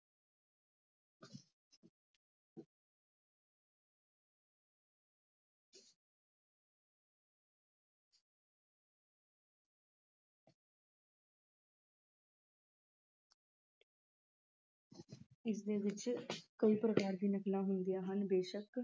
ਇਸਦੇ ਵਿੱਚ ਕਈ ਪ੍ਰਕਾਰ ਦੀਆਂ ਨਕਲਾਂ ਹੁੰਦੀਆਂ ਹਨ। ਬੇਸ਼ੱਕ